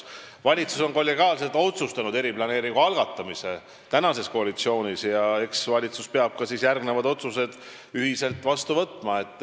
Valitsus on kollegiaalselt otsustanud eriplaneeringu algatamise ja eks valitsus peab ka järgmised otsused ühiselt vastu võtma.